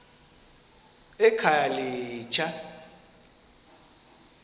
ekhayelitsha